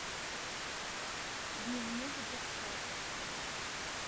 дневник девчат